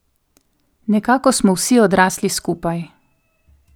Nekako smo vsi odrasli skupaj ...